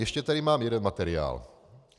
Ještě tady mám jeden materiál.